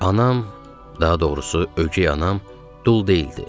Anam, daha doğrusu, ögey anam dul deyildi.